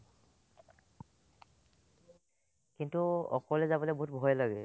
কিন্তু অকলে যাবলে বহুত ভয় লাগে